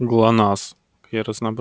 глонассс